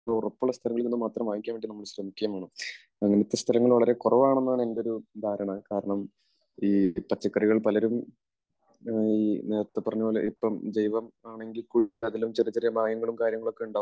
അങ്ങനെ ഉറപ്പുള്ള സ്ഥലങ്ങളിൽ നിന്ന് മാത്രം വാങ്ങിക്കാൻ വേണ്ടി നമ്മൾ ശ്രമിക്കുകയും വേണം. അങ്ങനത്തെ സ്ഥലങ്ങൾ വളരെ കുറവാണ് എന്നാണ് എന്റെ ഒരു ധാരണ. കാരണം ഈ പച്ചക്കറികൾ പലരും നേരത്തെ പറഞ്ഞതുപോലെ ഇപ്പോൾ ജൈവം ആണെങ്കിൽ കൂടി അതിലും ചെറിയ ചെറിയ മായങ്ങളും കാര്യങ്ങളും ഒക്കെ ഉണ്ടാവും.